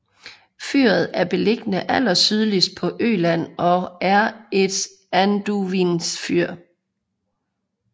Fyret er beliggende allersydligst på Øland og er et anduvningsfyr